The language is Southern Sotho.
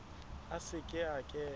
a se ke a kena